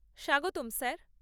স্বাগতম স্যার।